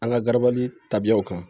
An ka garabali tabiyaw kan